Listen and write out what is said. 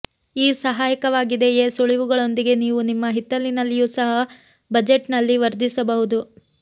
ಈ ಸಹಾಯಕವಾಗಿದೆಯೆ ಸುಳಿವುಗಳೊಂದಿಗೆ ನೀವು ನಿಮ್ಮ ಹಿತ್ತಲಿನಲ್ಲಿಯೂ ಸಹ ಬಜೆಟ್ನಲ್ಲಿ ವರ್ಧಿಸಬಹುದು